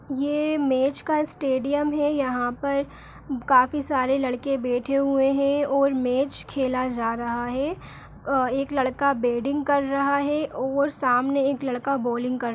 यह मैच का स्टेडियम हैं यहाँ पर काफी सारे लड़के बैठे हुए हैं और मैच खेला जा रहा है एक लड़का बैटिंग कर रहा है और सामने एक लड़का बोलिंग कर --